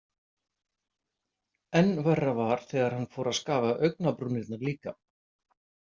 Enn verra var þegar hann fór að skafa augnabrúnirnar líka.